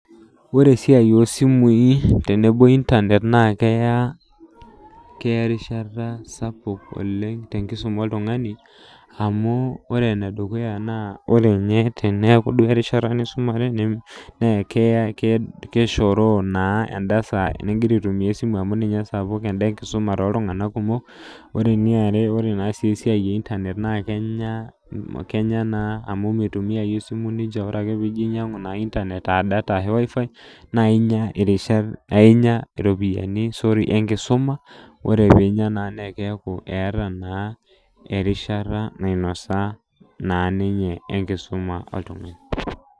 Ore esiai osimui tenebo internet naa keya , keya eriashata sapuk oleng tenkisuma oltungani amu ore ene dukuya naa ore nye tene, teneaku duo erishata nisumare na ke keshoroo naa endasaa ningira aitumia esimu amu ninye esapuk , enda enkisuma toltunganak kumok , ore eniare ore esiai einternet naa kenya naa amu mitumia esimu ninche , ore ake pijo ainyiangu ina internet aadata ashu wifi naa inya irishat, ainyia iopiyini sorry enkisuma ,ore pinya naa keeku eeta naa erishata nainosa naa ninye enkisuma oltungani.